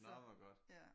Nå hvor godt